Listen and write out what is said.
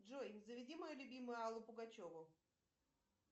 джой заведи мою любимую аллу пугачеву